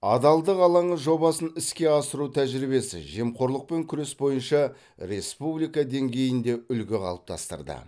адалдық алаңы жобасын іске асыру тәжірибесі жемқорлықпен күрес бойынша республика деңгейінде үлгі қалыптастырды